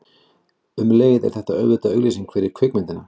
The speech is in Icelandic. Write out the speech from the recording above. Um leið er þetta auðvitað auglýsing fyrir kvikmyndina.